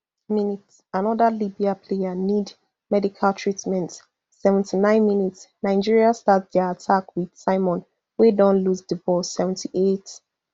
mins anoda libya player need medical treatment seventy-nine minsnigeria start dia attack wit simon wey don lose di ball seventy-eight